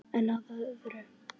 En að öðru.